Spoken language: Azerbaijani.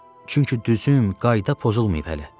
Çünki düzüm qayda pozulmayıb hələ.